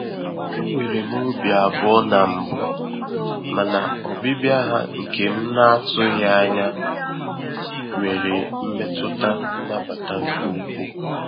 Enwere m obi abụọ na mbụ, mana ọbịbịa ha nke m na-atụghị anya nwere mmetụta nnabata nke ukwuu.